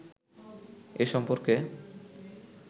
এ সম্পর্কে